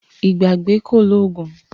Ìgbàgbé kò lóògùn